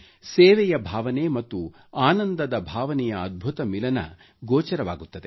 ಸೇವೆಯ ಭಾವನೆ ಮತ್ತು ಆನಂದದ ಭಾವನೆಯ ಅದ್ಭುತ ಮಿಲನ ಗೋಚರವಾಗುತ್ತದೆ